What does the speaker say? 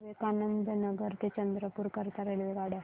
विवेकानंद नगर ते चंद्रपूर करीता रेल्वेगाड्या